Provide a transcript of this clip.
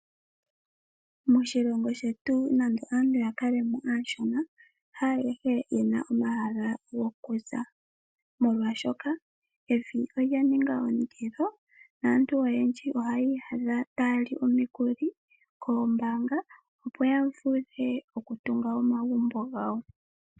Moshilongo shetu nande aantu yakalemo aashona haayehe yena omahala gokuza molwaashoka evi olya ninga ondilo . Aantu oyendji ohaya iyadha taya li omikuli koombaanga opo yatunge omagumbo gawo.